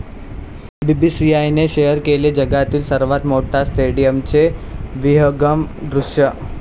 बीसीसीआयने शेअर केले जगातील सर्वात मोठ्या स्टेडियमचे विहंगम दृश्य